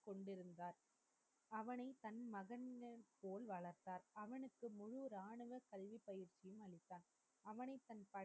கொண்டிருந்தார். அவனை தன் மகனைப் போல் வளர்த்தார். அவனுக்கு முழு இராணுவ பள்ளி பயிற்சியையும் அளித்தார். அவனை தன்